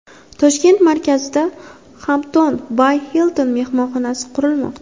Toshkent markazida Hampton by Hilton mehmonxonasi qurilmoqda.